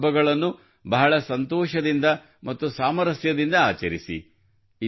ಈ ಹಬ್ಬಗಳನ್ನು ಬಹಳ ಸಂತೋಷದಿಂದ ಮತ್ತು ಸಾಮರಸ್ಯದಿಂದ ಆಚರಿಸಿ